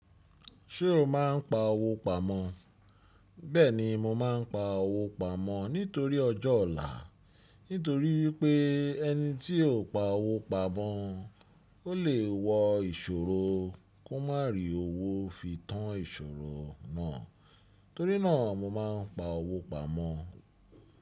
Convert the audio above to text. Ṣé o máa ń pa owó pamọ́? Bẹ́ẹ̀ni mo máa ń pa owó pamọ́ nítorí ọjọ́ ọ̀la. Nítorí wípé ẹni tí ò pa owó pamọ́, ó lè wo ìṣòro kó má rí owó fi tán ìṣòro náà. Nítorí náà mo máa ń pa owó pamọ́.